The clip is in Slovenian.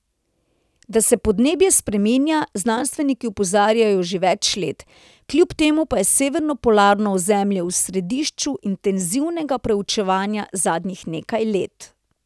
Da se podnebje spreminja, znanstveniki opozarjajo že več let, kljub temu pa je severno polarno ozemlje v središču intenzivnega preučevanja zadnjih nekaj let.